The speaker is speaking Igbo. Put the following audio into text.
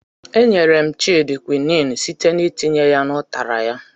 E nyere m Child kwinin site n'itinye ya n' ụtara ya.